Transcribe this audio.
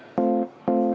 Aitäh!